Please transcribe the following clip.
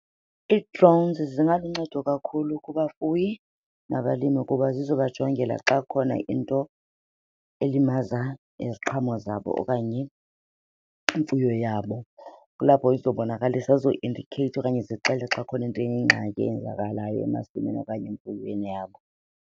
Ii-drones zingaluncedo kakhulu kubafuyi nabalimi kuba zizobajongela xa kukhona into elimaza iziqhamo zabo okanye imfuyo yabo. Kulapho izobonakalisa, zizoindikheyitha okanye zixelele xa khona into eyingxaki eyenzakalayo emasimini okanye emfuyweni yabo.